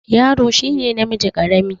Yaro shi ne namiji ƙarami.